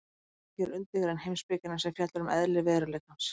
Frumspeki er undirgrein heimspekinnar sem fjallar um eðli veruleikans.